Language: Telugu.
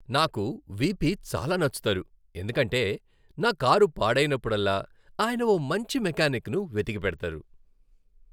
నాకు వీపీ చాలా నచ్చుతారు ఎందుకంటే, నా కారు పాడైనప్పుడల్లా ఆయన ఓ మంచి మెకానిక్ను వెతికిపెడతారు.